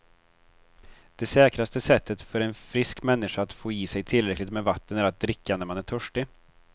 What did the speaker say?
Det säkraste sättet för en frisk människa att få i sig tillräckligt med vatten är att dricka när man är törstig.